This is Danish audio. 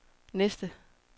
næste